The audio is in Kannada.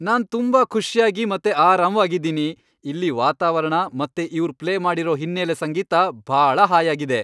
ನಾನ್ ತುಂಬಾ ಖುಷ್ಯಾಗಿ ಮತ್ತೆ ಆರಾಮ್ವಾಗಿದೀನಿ, ಇಲ್ಲಿ ವಾತಾವರಣ ಮತ್ತೆ ಇವ್ರ್ ಪ್ಲೇ ಮಾಡಿರೋ ಹಿನ್ನೆಲೆ ಸಂಗೀತ ಭಾಳ ಹಾಯಾಗಿದೆ!